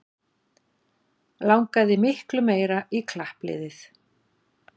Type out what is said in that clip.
Langaði miklu meira í klappliðið